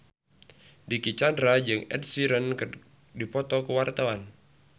Dicky Chandra jeung Ed Sheeran keur dipoto ku wartawan